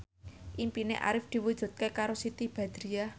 impine Arif diwujudke karo Siti Badriah